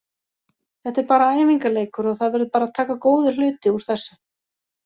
Þetta er bara æfingarleikur og það verður bara að taka góða hluti úr þessu.